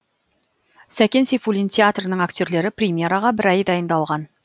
сәкен сейфуллин театрының актерлері премьераға бір ай дайындалған